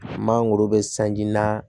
Mangoro bɛ sanji na